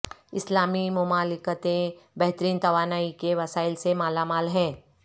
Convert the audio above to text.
اسلامی مملکتیں بہترین توانائی کے وسائل سے مالا مال ہیں